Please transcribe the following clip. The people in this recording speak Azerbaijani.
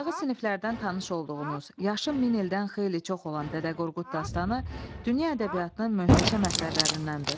Aşağı siniflərdən tanış olduğunuz, yaşı min ildən xeyli çox olan Dədə Qorqud dastanı dünya ədəbiyyatının möhtəşəm əsərlərindəndir.